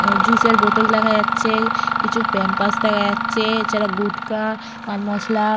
আ juice এর বোতল দেখা যাচ্ছে কিছু প্যাম্পপার্স দেখা যাচ্ছে। এছাড়া গুটখা পানমসলা।